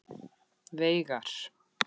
Veigar